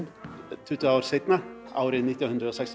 tuttugu árum seinna árið nítján hundruð sextíu